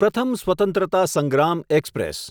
પ્રથમ સ્વત્રંતતા સંગ્રામ એક્સપ્રેસ